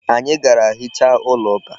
Anyị gara hichaa ụlọ ụka.